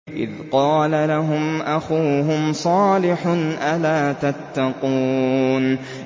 إِذْ قَالَ لَهُمْ أَخُوهُمْ صَالِحٌ أَلَا تَتَّقُونَ